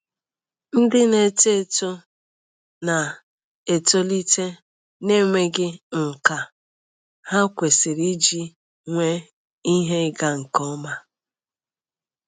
Ndị na-eto eto na-etolite n'enweghị nkà ha kwesịrị iji nwee ihe ịga nke ọma.